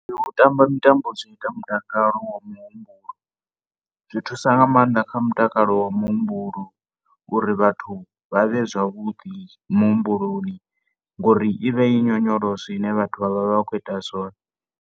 U tamba mutambo zwi ita mutakalo wa muhumbulo. Zwi thusa nga maanḓa kha mutakalo wa muhumbulo uri vhathu vha vhe zwavhuḓi muhumbuloni, ngauri i vha i nyonyoloso ine vhathu vha vha khou ita zwone.